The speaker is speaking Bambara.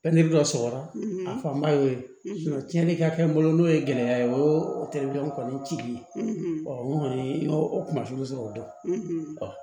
dɔ sɔrɔra a fanba y'o ye tiɲɛni ka kɛ n bolo n'o ye gɛlɛya ye o terikɛw kɔni cili ye n kɔni y'o o kunnafoni sɔrɔ o dɔn